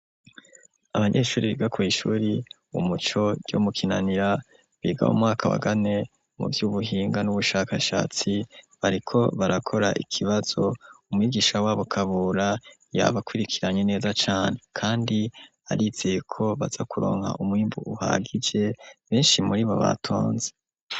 Abanyeshure biga kw'ishure umuco ryo mu kinanira biga mumwaka wakane mu vy'ubuhinga n'ubushakashatsi bariko barakora ikibazo umwigisha wabo Kabura yabakurikiranye neza cane kandi arizeye ko baza kuronka umwimbu uhagije benshi muri bo batonze.